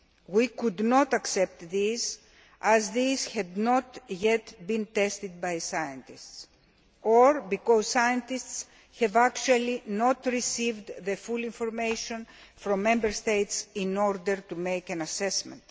We could not accept these as these had not yet been tested by scientists, or because scientists have actually not received full information from Member States in order to make an assessment.